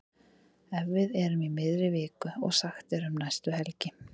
Ef við erum í miðri viku og sagt er um næstu helgi.